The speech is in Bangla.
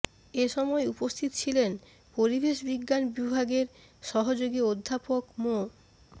এসময় উপস্থিত ছিলেন পরিবেশ বিজ্ঞান বিভাগের সহযোগী অধ্যাপক মো